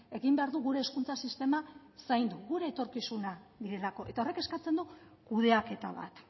egin behar du gure hezkuntza sistema zaindu gure etorkizuna direlako eta horrek eskatzen du kudeaketa bat